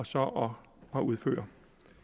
så at udføre